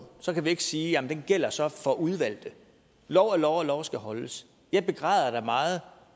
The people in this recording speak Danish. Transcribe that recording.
så kan vi ikke sige at den gælder så for udvalgte lov er lov og lov skal holdes jeg begræder da meget